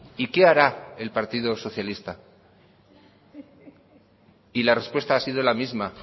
y qué hará el partido socialista y la respuesta ha sido la misma